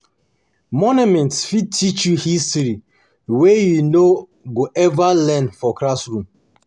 Monuments fit teach you history wey you no go ever learn for classroom.